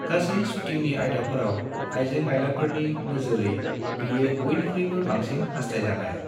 गासै शूटिंनि आयदाफोराव, आयजें-आयलाफोरनि नोजोरै बेयो बयनिख्रुयबो बांसिन हास्थायजानाय।